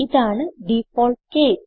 ഇതാണ് default case